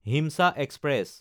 হিমচা express